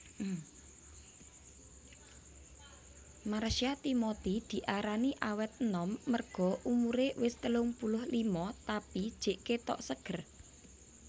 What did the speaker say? Marsha Timothy diarani awet enom merga umure wes telung puluh lima tapi jek ketok seger